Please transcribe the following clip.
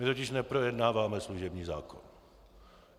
My totiž neprojednáváme služební zákon.